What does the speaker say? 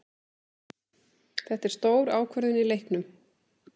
Þetta er stór ákvörðun í leiknum.